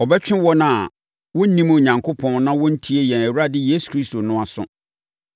abɛtwe wɔn a wɔnnim Onyankopɔn na wɔntie yɛn Awurade Yesu Asɛmpa no aso.